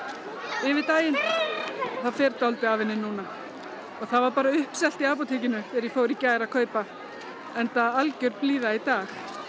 yfir daginn það fer dálítið af henni núna og það var bara uppselt í apótekinu þegar ég fór í gær að kaupa enda algjör blíða í dag